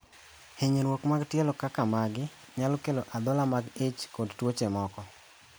Hinyruok mag tielo kaka magi nyalo kelo adhola mag ich kod tuoche moko.